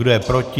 Kdo je proti?